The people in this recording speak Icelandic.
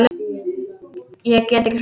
Ég get ekki sofnað.